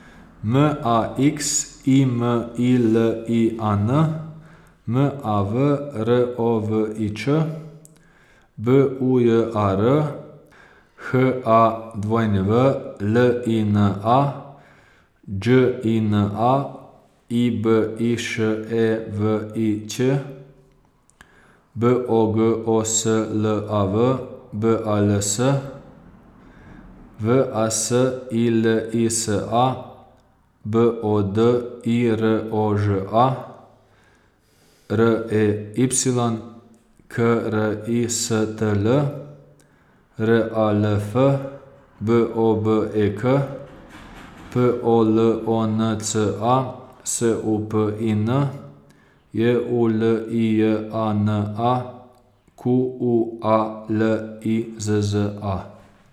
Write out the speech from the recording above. M A X I M I L I A N, M A V R O V I Č; B U J A R, H A W L I N A; Đ I N A, I B I Š E V I Ć; B O G O S L A V, B A L S; V A S I L I S A, B O D I R O Ž A; R E Y, K R I S T L; R A L F, B O B E K; P O L O N C A, S U P I N; J U L I J A N A, Q U A L I Z Z A.